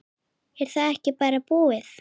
Er þetta ekki bara búið?